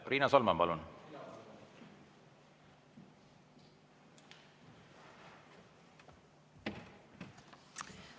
Riina Solman, palun!